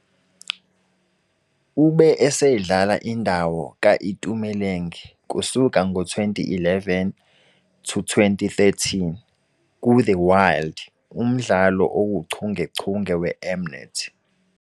Ube esedlala indawo ka-Itumeleng kusuka ngo-2011-2013 "kuThe Wild", umdlalo owuchungechunge weM-Net.